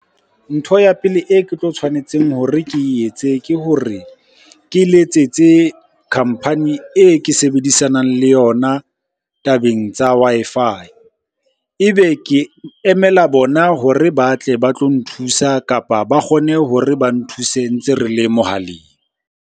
Ntho ya pele e ke tlo tshwanetseng hore ke etse ke hore ke letsetse company e ke sebedisanang le yona tabeng tsa Wi-Fi. Ebe ke emela bona hore ba tle ba tlo nthusa, kapa ba kgone hore ba nthuse ntse re le mohaleng.